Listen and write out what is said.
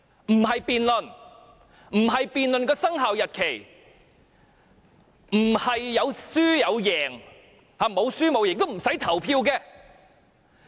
我們不是辯論生效日期，沒有輸贏之分也不用表決。